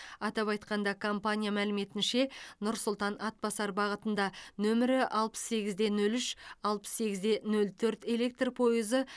атап айтқанда компания мәліметінше нұр сұлтан атбасар бағытында нөмірі алпыс сегіз де нөл үш алпыс сегіз де нөл төрт электр пойызы